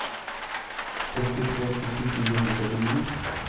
sekstitre tusen fire hundre og førtini